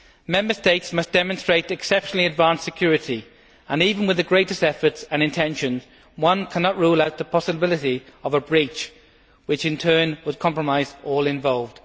Member States must demonstrate exceptionally advanced security and, even with the greatest efforts and intentions, one cannot rule out the possibility of a breach which, in turn, would compromise all involved.